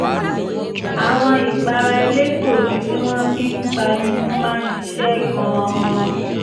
àwọn ìpara elégbòogi tí wọ́n fi ń pa imú máa ń ṣiṣẹ́ gan-an